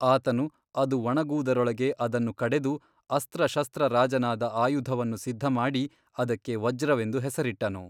ಆತನು ಅದು ಒಣಗುವುದರೊಳಗೆ ಅದನ್ನು ಕಡೆದು ಅಸ್ತ್ರಶಸ್ತ್ರರಾಜನಾದ ಆಯುಧವನ್ನು ಸಿದ್ಧಮಾಡಿ ಅದಕ್ಕೆ ವಜ್ರವೆಂದು ಹೆಸರಿಟ್ಟನು.